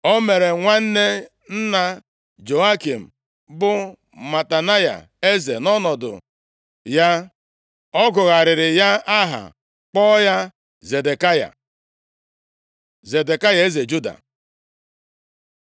O mere nwanne nna Jehoiakin, bụ Matanaya, eze nʼọnọdụ ya. Ọ gụgharịrị ya aha, kpọọ ya Zedekaya. Zedekaya eze Juda